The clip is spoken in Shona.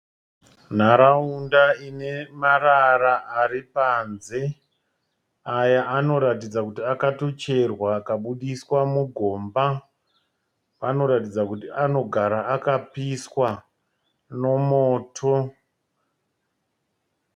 Nharaunda ine marara ari panze, aya anoratidza kuti akatocherwa akabuditswa mugomba, anoratidza kuti anogara akapiswa nomoto